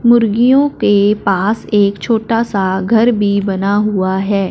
मुर्गियों के पास एक छोटा सा घर भी बना हुआ है।